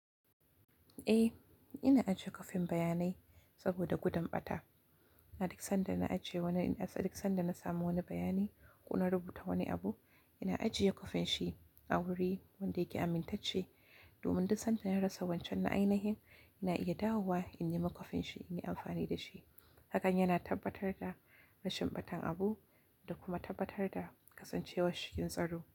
Eh, ina aje kwafin bayanai saboda gudun ɓata. A duk sanda na ajiye wani, a duk sanda na samu wani bayani ko na rubuta wani abu, ina ajiye kwafin shi a wuri wanda yake amintacce. Domin duk sanda na rasa wancan na'ainihin, ina iya dawowa in ne ma kwafin shi in yi amfani da shi. Hakan yana tabbatar da rashin ɓatan abu da kuma tabbatar da kasancewar shi cikin tsaro.